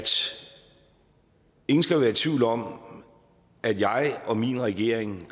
ingen skal være i tvivl om at jeg og min regering